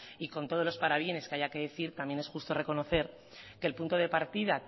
y con todos los parabienes que haya que decir también es justo reconocer que el punto de partida